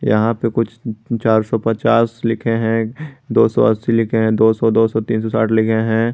यहां पे कुछ चार सौ पचास लिखे हैं दो सौ अस्सी लिखे हैं दो सौ दो सौ तीन सौ साठ लिखे हैं।